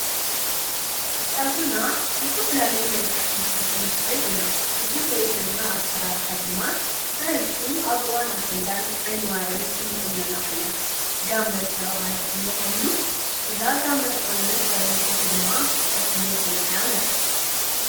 ፀጉርና ብዝተፈላለየ መልከዕ ክንስሮሖ ንክእል ኢና። እዚ ነሪኦ ዘለና አሰራራሓ ድማ ብበዝሒ አብ እዋን አሽንዳን ዓይኒዋርን እንቁኖኖ ዓይነት ጋመ ዝተባሃለ ቁኖ ኮይኑ እዛ ጋመ ዝተቆነነት ጋል አንስተይቲ ድማ ጠስሚ ተለክያ ንሪአ፡፡